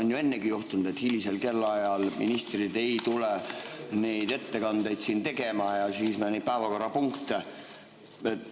On ju ennegi juhtunud, et hilisel kellaajal ministrid ei tule neid ettekandeid tegema ja siis me neid päevakorrapunkte ...